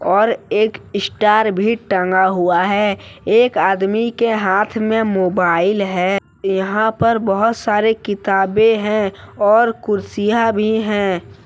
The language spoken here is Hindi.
और एक स्टार भी टंगा हुआ है एक आदमी के हाथ में मोबाइल है यहां पर बहुत सारे किताबें हैं और कुर्सियां भी हैं।